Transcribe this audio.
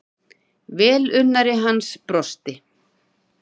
Velunnari hans brosti.